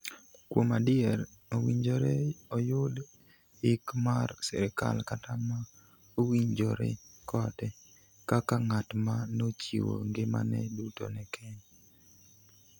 Kuom adier owinjore oyud yik mar sirkal kata ma owinjore kode kaka ng'at ma nochiwo ngimane duto ne Kenya.